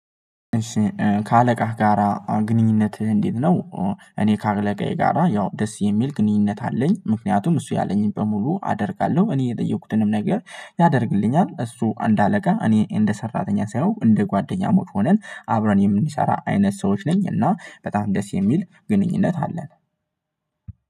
ከአለቃህ ጋራ ግንኙነትህ እንዴት ነው? እኔ ከአለቃዬ ጋራ ያው ደስ የሚል ግንኙነት አለኝ ምክንያቱም እሱ ያለኝን በሙሉ አደርጋለሁ። እኔ የጠየኩትንም ነገር ያደርግልኛል እሱ አንድ አለቃ እኔ እንደ ሰራተኛ ሳየው እንደ ጓደኛሞች ሆነን አብረን የምንሰራ አይነት ሰዎች ነኝ። እና በጣም ደስ የሚል ግንኙነት አለን።